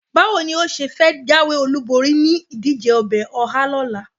Báwo ni ó ṣe fẹ́ jáwé-olúborí nínú ìdíje ọbẹ̀ ọhá ní ọ̀la?